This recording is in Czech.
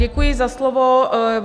Děkuji za slovo.